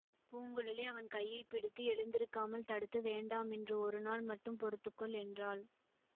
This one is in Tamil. பூங்குழலி அவன் கையை பிடித்து எழுந்திருக்காமல் தடுத்து வேண்டாம் இன்று ஒரு நாள் மட்டும் பொறுத்துக்கொள் என்றாள்